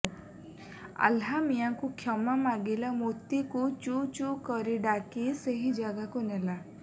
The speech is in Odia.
ଆହ୍ଲା ମିଆଁକୁ କ୍ଷମା ମାଗିଲା ମୋତିକୁ ଚୁ ଚୁ କରି ଡାକି ସେଇ ଜାଗାକୁ ନେଲା